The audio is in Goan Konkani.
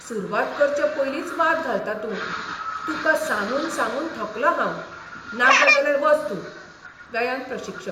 सुरवात करचे पयलींच वाद घालता तूं. तुका सांगून सांगून थकलों हांव. नाका जाल्यार वच तूं. व्यायाम प्रशिक्षक